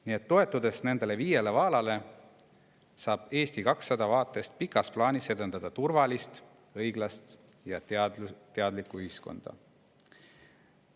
Nii et toetudes nendele viiele vaalale, saab Eesti 200 pika plaani vaatest edendada turvalist, õiglast ja teadlikku ühiskonda.